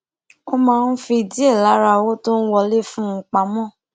ó máa ń fi díè lára owó tó ń wọlé fún un pamó